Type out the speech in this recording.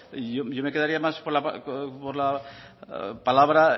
yo me quedaría más con la palabra